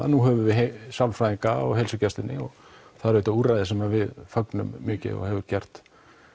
nú höfum við sálfræðinga í heilsugæslunni og það eru auðvitað úrræði sem við fögnum mikið og hefur gert